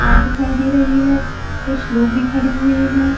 पहाड़ दिखाई दे रही है कुछ लोग भी खड़े हुए है।